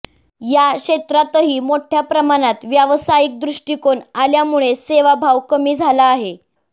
या क्षेत्रातही मोठय़ा प्रमाणात व्यावसायिक दृष्टिकोन आल्यामुळे सेवाभाव कमी झाला आहे